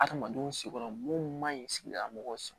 Adamadenw si yɔrɔ mun man ɲi sigidala mɔgɔw sɔrɔ